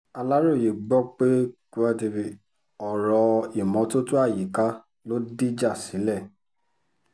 aláròye gbọpẹ́ ọ̀rọ̀ ìmọ́tótó àyíká ló dìjà sílẹ̀